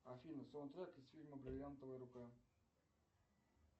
афина саундтрек из фильма бриллиантовая рука